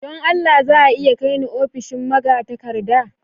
Don Allah za a iya kai ni ofishin magatakarda?